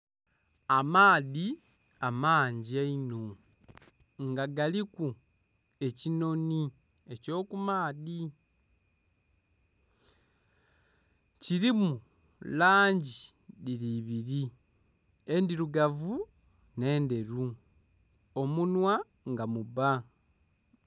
Amaadhi amangi einho nga galiku ekinoni ekyo ku maadhi, kirimu langi dhiri ibiri endhirugavu nhe'ndheru omunhwa nga mubba.